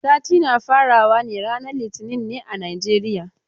Sati na fara wa ne ranan litinin ne a Najeriya.